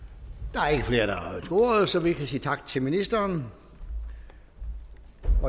der er ikke flere der har ordet så vi kan sige tak til ministeren